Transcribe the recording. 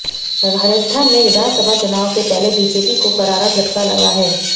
राजस्थान में विधानसभा चुनाव से पहले बीजेपी को करारा झटका लगा है